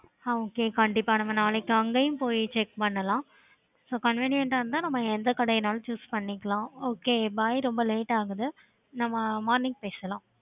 okay கண்டிப்பா நம்ம நாளைக்கு அங்கேயும் போய் check பண்ணலாம்